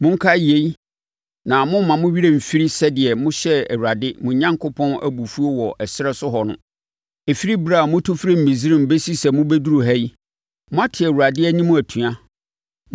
Monkae yei na mommma mo werɛ mfiri sɛdeɛ mohyɛɛ Awurade, mo Onyankopɔn Abufuo wɔ ɛserɛ so hɔ no. Ɛfiri ɛberɛ a motu firii Misraim bɛsi sɛ moduruu ha yi, moate Awurade anim atua.